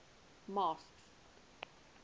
masked